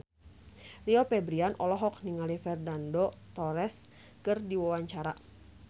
Rio Febrian olohok ningali Fernando Torres keur diwawancara